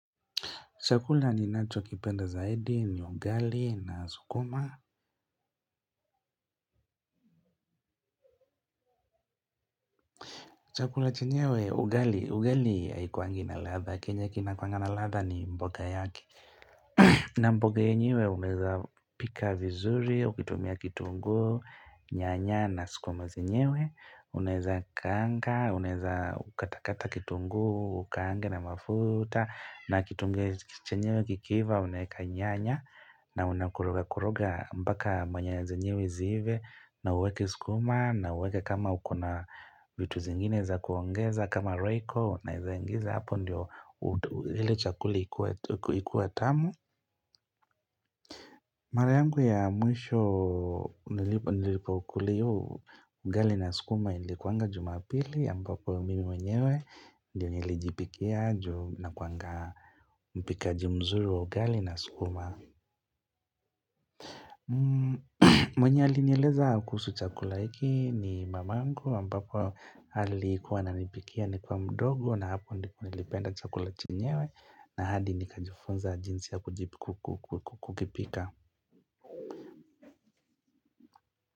Chakula ninacho kipenda zaidi ni ugali na sukuma. Chakula chenyewe ugali ugali haikuangi na latha kenye kinakuangana latha ni mboga yaki. Na mboga yenyewe unaweza pika vizuri, ukitumia kitungu, nyanya na sikuma zenyewe Unaweza kaanga, unaweza katakata kitunguu, ukaange na mafuta na kitunguu chenyewe kikiva, unaweka nyanya na unakoroga koroga mpaka manyoya zenyewe ziive, na uweke sukuma na uweke kama uko na vitu zingine za kuongeza kama Royco, naezaingiza hapo ndio ile chakula ikuwa tamu Mara yangu ya mwisho nilipokula hiyo ugali na sukuma ilikuanga jumapili ambapo mimi mwenyewe ndio nilijipikia ju nakuwanga mpikaji mzuri wa ugali na sukuma mwenye alinieleza kuhusu chakula hiki ni mamangu ambapo alikuwa ananipikia nikiwa mdogo na hapo ndipo nilipenda chakula chenyewe na hadi nikajifunza jinsi ya kukipika.